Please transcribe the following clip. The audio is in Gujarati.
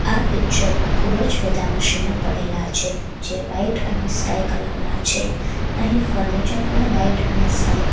આ પિક્ચર મા ખુબજ બધા મશીનો પડેલા છે જે વ્હાઇટ અને સ્કાય કલર ના છે અહીં ફર્નિચર પણ વ્હાઇટ અને સ્કાય ક--